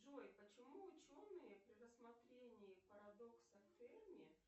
джой почему ученые при рассмотрении парадокса ферми